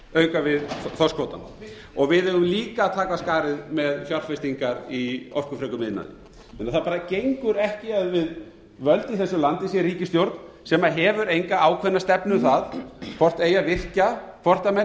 auka við þorskkvótann við eigum líka að taka af skarið með fjárfestingar í orkufrekum iðnaði þannig að það bara gengur ekki að við völd í þessu landi sé ríkisstjórn sem hefur enga ákveðna stefnu um það hvort eigi að virkja hvort menn